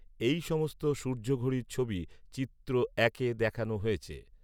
এই সমস্ত সূর্যঘড়ির ছবি চিত্র একে দেখানো হয়েছে।